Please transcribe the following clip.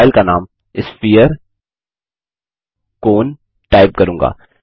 मैं फाइल का नाम sphere कोन टाइप करूँगा